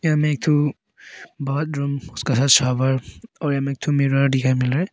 यहां में एक ठू बॉथरूम शॉवर और यहां में एक ठो मिरर दिखाई मिल रहा है।